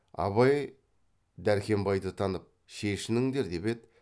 абай дәркембайды танып шешініңдер деп еді